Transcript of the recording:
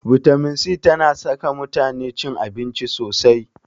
Bitamin c tana saka mutane cin abinci sosai.